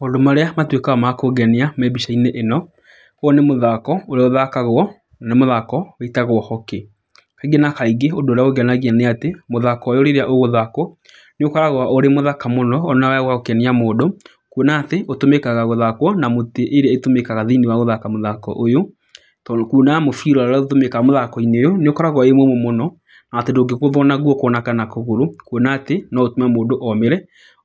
Maũndũ marĩa matuĩkaga ma kũngenia me mbica-inĩ ĩno, ũyũ nĩ mũthako ũrĩa ũthakagwo, nĩ mũthako wĩtagwo hockey. Kaingĩ na kaingĩ ũndũ ũrĩa ũngenagia nĩ atĩ mũthako ũyũ rĩrĩa ũgũthakwo nĩ ũkoragwo ũrĩ mũthaka mũno ona wa gũkenia mũndũ. Kuona atĩ ũtũmĩkaga gũthakwo na mũtĩ ĩrĩa ĩtũmĩkaga thĩiniĩ wa gũthaka mũthako ũyũ. Tondũ kuona mũbira ũrĩa ũtũmĩkaga ũyũ nĩ ũkoragwo wĩ mũũmũ mũno na atĩ ndũngĩgũthwo na guoko kana kũgũrũ. Kuona atĩ no mũndũ omĩre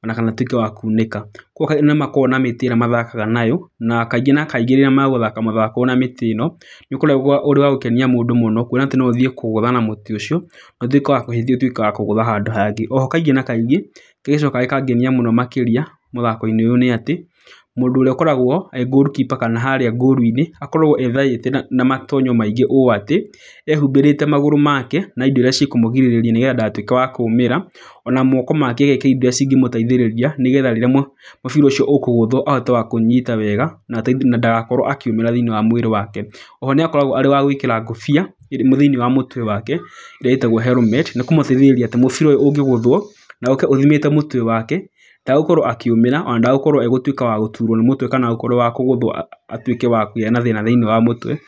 ona kana ũtuĩke wa kunĩka. Koguo nĩ makoragwo na mĩtĩ ĩrĩa mathakaga nayo. Na kaingĩ na kaingĩ rĩrĩa megũthaka mũthako ũyũ na mĩtĩ ĩno, nĩ ũkoragwo ũrĩ wa gũkenia mũndũ mũno. Kuona atĩ no ũthiĩ kũgũtha na mũtĩ ũcio na ũtuĩke wa ũtuĩke wa kũgũtha handũ hangĩ. Oho kaingĩ na kaingĩ kĩrĩa gĩcokaga gĩkangenia mũno makĩria mũthako-inĩ ũyũ nĩ atĩ, mũndũ ũrĩa akoragwo e goal keeper kana harĩa goal inĩ, akoragwo ethaĩte na matonyo maingĩ ũũ atĩ, ehumbĩrĩte magũrũ make na indo irĩa cikũmũgirĩrĩria nĩgetha ndagatuĩke wakũmĩra. Ona moko make agekĩra indo irĩa cingĩmũteithĩrĩria nĩgetha rĩrĩa mũbira ũcio ukũgũthwo ahote wa kũũnyita wega na ndagakorwo akiumia thĩiniĩ wa mwĩrĩ wake. Oho nĩ akoragwo arĩ wa gwĩkĩra ngobia thĩiniĩ wa mũtwe wake ĩrĩa ĩtagwo helmet ni kũmũgirĩrĩria atĩ mũbira ũyũ ũngĩgũthwo na ũke ũthimĩte mũtwe wake, ndegũkorwo akĩ akiumia ona ndegũkorwo wa gũtuĩka wa gũturwo nĩ mũtwe kana wa gũkorwo wa kũgũthwo atuĩke wa kũgĩa na thĩna thĩiniĩ wa mũtwe wake.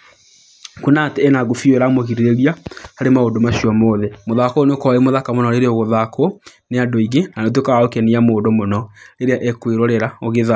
Kuona atĩ ena ngobia ĩyo ĩramũgĩrĩrĩria harĩ maũndũ macio mothe. Mũthako ũyũ nĩ ũkoragwo wĩ mũthaka mũno rĩrĩa ũgũthakwo nĩ andũ aingĩ na nĩ ũtuĩkaga wa gũkenia mũndũ mũno rĩrĩa ekwĩrorera ũgĩthakwo.